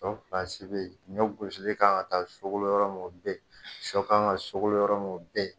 Ɲɔ be yen , ɲɔ gosilen kan ka taa sogolo yɔrɔ min o be yen, sɔ kan ka sogolo yɔrɔ min o be yen .